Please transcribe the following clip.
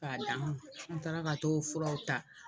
K'a an taara ka t'o furaw ta.